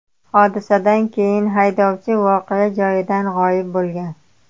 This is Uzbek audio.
Hodisadan keyin haydovchi voqea joyidan g‘oyib bo‘lgan.